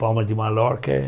Palma de Mallorca é